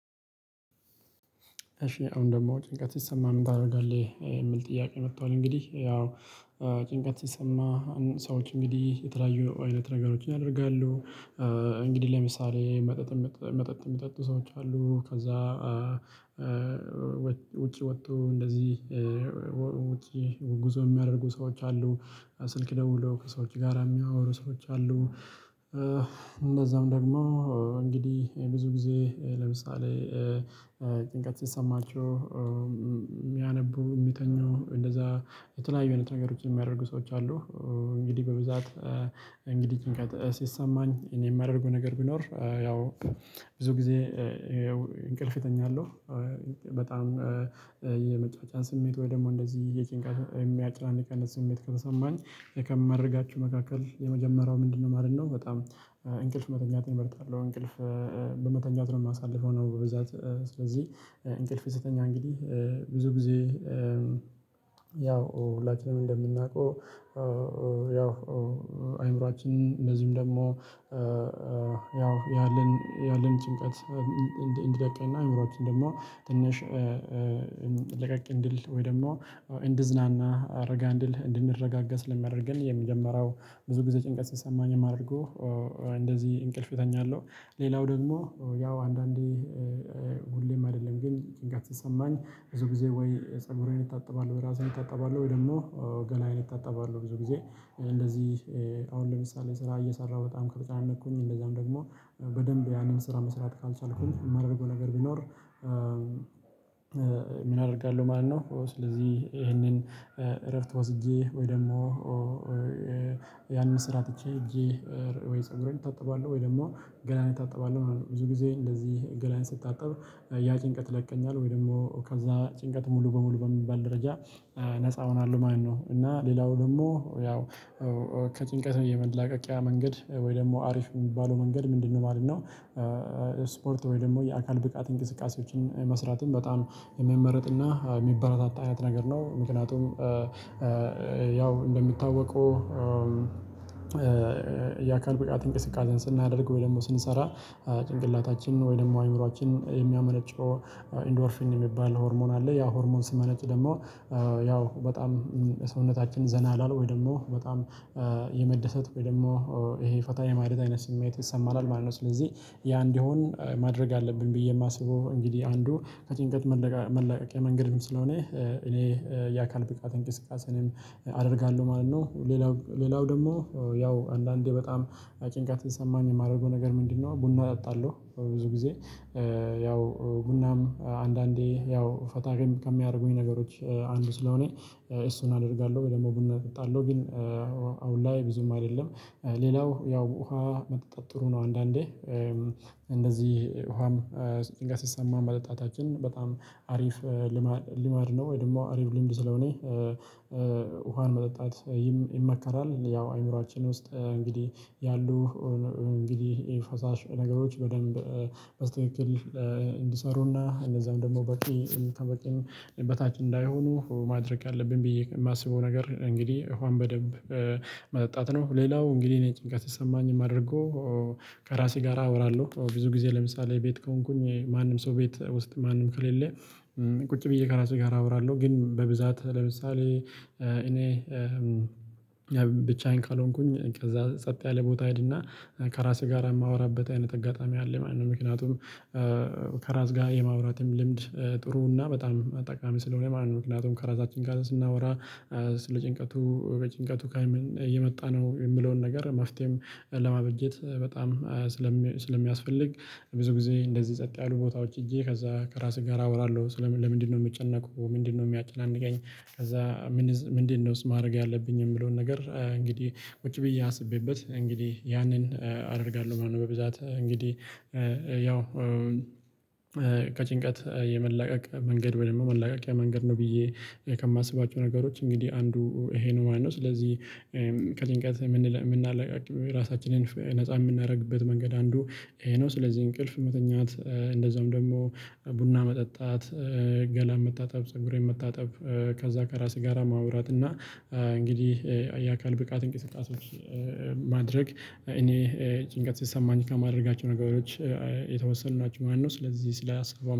እሺ አሁን ደግሞ ጭንቀት ሲሰማህ ምን ታደርጋለህ? የሚል ጥያቄ መጥቷል እንግዲህ ያው ጭንቀት ሲሰማ ሰዎች እንግዲህ የተለያዩ አይነት ነገሮችን ያደርጋሉ እንግዲህ ለምሳሌ መጠጥ መጠጥ የሚጠጡ ሰዎች አሉ ከዛ ውጪ ወጥተው እንደዚህ ወጪ ጉዞ የሚያደርጉ ሰዎች አሉ ስልክ ደውለው ከሰዎች ጋራ የሚያወሩ ሰዎች አሉ እንደዛም ደግሞ እንግዲህ ብዙ ጊዜ ለምሳሌ ጭንቀት ሲሰማቸው የሚያነቡ፣ የሚተኙ፣ እንደዛ የተለያዩ አይነት ነገሮችን የሚያደርጉ ሰዎች አሉ። እንግዲህ በብዛት እንግዲህ ጭንቀት ሲሰማኝ እኔ የማደርገው ነገር ቢኖር ያው ብዙ ጊዜ እንቅልፍ እተኛለሁ፤ በጣም የመጫጫን ስሜት ወይ ደግሞ እንደዚህ የጭንቃት የሚያጨናንቅ አይነት ስሜት ከተሰማኝ ከማደርጋቸው መካከል የመጀመርያው ምንድነው ማለት ነው? በጣም እንቅልፍ መተኛት እመርጣለሁ እንቅልፍ በመተኛት ነው የማሳልፈው ነው በብዛት። ስለዚህ እንቅልፍ ስተኛ እንግዲህ ብዙ ጊዜ ያው ሁላችንም እንደምናውቀው ያው አይምሮአችን እንድዚሁም ደግሞ ያው ያለን ያለን ጭንቀት እንዲለቀንና አእምሮአችን ደግሞ ትንሽ ለቀቅ እንዲል ወይ ደግሞ እንዲዝናና፣ ረጋ እንዲል እንድንረጋጋ ስለሚያደርገን የመጀመሪያው ብዙ ጊዜ ጭንቀት ሲሰማኝ የማደርገው እንደዚህ እንቅልፍ እተኛለሁ። ሌላው ደግሞ ያው አንዳንዴ ሁሌም አይደለም ግን ጭንቀት ሲሰማኝ፥ ብዙ ጊዜ ወይ ፀጉሬን እታጠባለሁ፤ ወይ እራሴን እታጠባለሁ፤ ወይ ደግሞ ገላዬን እታጠባለሁ ብዙ ጊዜ። እንደዚህ አሁን ለምሳሌ ስራ እየሰራሁ በጣም ከተጨናነኩኝ እንደዛም ደግሞ በደንብ ያንን ስራ መስራት ካልቻልኩኝ የማደርገው ነገር ቢኖር ምን አደርጋለሁ ማለት ነው፥ ስለዚህ ይሄንን እረፍት ወስጄ፤ ወይ ደግሞ ያንን ስራ ትቼ ሄጄ፤ ወይ ፀጉሬን እታጠባለሁ፤ ወይ ደግሞ ገላንዬን እታጠባለሁ ማለት ነው። ብዙ ጊዜ እንደዚህ ገላዬን ስታጠብ ያ ጭንቀት ይለቀኛል ወይ ደግሞ ከዛ ጭንቀት ሙሉ በሙሉ በሚባል ደረጃ ነፃ እሆናለሁ ማለት ነው እና ሌላው ደግሞ ያው ከጭንቀት የመላቀቂያ መንገድ ወይ ደግሞ አሪፍ የሚባለው መንገድ ምንድነው ማለት ነው ስፖርት ወይ ደግሞ የአካል ብቃት እንቅስቃሴዎችን መስራትም በጣም የሚመረጥና የሚበረታታ አይነት ነገር ነው። ምክንያቱም ያው እንደሚታወቀው የአካል ብቃት እንቅስቃሴን ስናደርግ ወይ ደግሞ ስንሰራ ጭንቅላታችን ወይ ደግሞ አእምሮአችን የሚያመነጨው ኢንዶርፊን የሚባል ሆርሞን አለ፥ ያ ሆርሞን ሲመነጭ ደግሞ ያው በጣም ሰውነታችን ዘና ይላል ወይ ደግሞ በጣም የመደሰት ወይ ደግሞ ይሄ ፈታ የማለት አይነት ስሜት ይሰማናል ማለት ነው። ስለዚህ ያ እንዲሆን ማድረግ አለብኝ ብዬ የማስበው እንግዲህ አንዱ ከጭንቀት መላቀቂያ መንገድም ስለሆነ እኔ የአካል ብቃት እንቅስቃሴንም አደርጋለሁ ማለት ነው። ሌላው ሌላው ደግሞ ያው አንዳንዴ በጣም ጭንቀት ሲሰማኝ የማደርገው ነገር ምንድነው ቡና እጠጣለሁ ብዙ ጊዜ ያው ቡናም አንዳንዴ ያው ፈታ ከሚያደርጉኝ ነገሮች አንዱ ስለሆነ እሱን አደርጋለሁ ወይ ደግሞ ቡና እጠጣለሁ ግን አሁን ላይ ብዙም አይደለም። ሌላው ያው ውሃ መጠጣት ጥሩ ነው አንዳንዴ እንደዚህ ውሃም ጭንቀት ሲሰማን መጠጣታችን በጣም አሪፍ ልማድ ነው ወይ ደግሞ አሪፍ ልምድ ስለሆነ ውሃን መጠጣት ይመከራል። ያው አይምሮአችን ውስጥ እንግዲህ ያሉ እንግዲህ ፈሳሽ ነገሮች በደንብ በስክክል እንዲሰሩና እነዛም ደግሞ በቂ ከበቂም በታች እንዳይሆኑ ማድረግ አለብኝ ብዬ የማስበው ነገር እንግዲህ ውሃን በደንብ መጠጣት ነው። ሌላው እንግዲህ እኔ ጭንቀት ሲሰማኝ የማደርገው ከራሴ ጋር አወራለሁ። ብዙ ጊዜ ለምሳሌ ቤት ከሆንኩኝ ማንም ሰው ቤት ውስጥ ማንም ከሌለ ቁጭ ብዬ ከራሴ ጋር አወራለሁ። ግን በብዛት ለምሳሌ እኔ ብቻዬን ካልሆንኩኝ ከዛ ጸጥ ያለ ቦታ እሄድና ከራሴ ጋር የማወራበት አይነት አጋጣሚ አለ ማለት ነው። ምክንያቱም ከራስ ጋር የማውራትም ልምድ ጥሩ እና በጣም ጠቃሚ ስለሆነ ማለት ነው። ምክንያቱም ከራሳችን ጋር ስናወራ ስለ ጭንቀቱ በጭንቀቱ ከምን የመጣ ነው የሚለውን ነገር መፍትሄም ለማበጀት በጣም ስለሚያስፈልግ ብዙ ጊዜ እንደዚህ ጸጥ ያሉ ቦታዎች ሄጄ ከዛ ከራሴ ጋር አወራለሁ። ለምንድነው የምጨነቀው? ምንድነው ሚያጨናንቀኝ? ከዛ ምንድነውስ ማረግ ያለብኝ የሚለውን ነገር እንግዲህ ቁጭ ብዬ አስቤበት እንግዲህ ያንን አደርጋለሁ ማለት ነው። በብዛት እንግዲህ ያው ከጭንቀት የመላቀቅ መንገድ ወይ ደግሞ መላቀቂያ መንገድ ነው ብዬ ከማስባቸው ነገሮች እንግዲህ አንዱ ይሄ ነው ማለት ነው። ስለዚህ ከጭንቀት ምናላቅቅ ራሳችንን ነፃ የምናደርግበት መንገድ አንዱ ይሄ ነው። ስለዚህ እንቅልፍ መተኛት፤ እንደዛውም ደግሞ ቡና መጠጣት፤ ገላ መታጠብ፤ ፀጉሬን መታጠብ፤ ከዛ ከራሴ ጋራ ማውራት እና እንግዲህ የአካል ብቃት እንቅስቃሴዎች ማድረግ እኔ ጭንቀት ሲሰማኝ ከማድረጋቸው ነገሮች የተወሰኑ ናቸው ማለት ነው። ስለዚህ ስለ ሀሳቡ